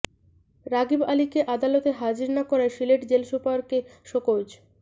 রাগিব আলীকে আদালতে হাজির না করায় সিলেট জেল সুপারকে শোকজ